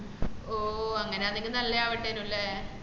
ഓഹ് അങ്ങനെ ആണെങ്കിൽ നല്ലവാണ്ടനും ലെ